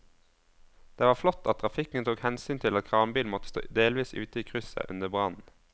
Det var flott at trafikken tok hensyn til at kranbilen måtte stå delvis ute i krysset under brannen.